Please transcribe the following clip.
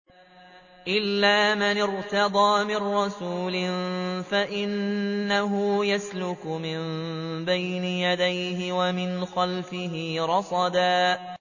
إِلَّا مَنِ ارْتَضَىٰ مِن رَّسُولٍ فَإِنَّهُ يَسْلُكُ مِن بَيْنِ يَدَيْهِ وَمِنْ خَلْفِهِ رَصَدًا